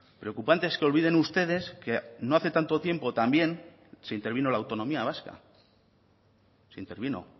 preocupante es que olviden ustedes que no hace tanto tiempo también se intervino la autonomía vasca se intervino